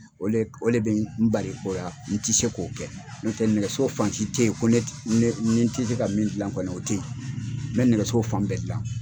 O le o le bɛ n bali o ya n ti se k'o kɛ n'o tɛ nɛgɛso fan si tɛ ye ko ne tɛ ne ni n tɛ se ka min dilan kɔni o tɛ ye n bɛ nɛgɛso fan bɛɛ dilan.